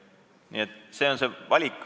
Nii et see on see riigi valik.